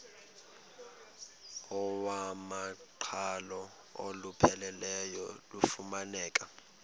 iwamaqhalo olupheleleyo lufumaneka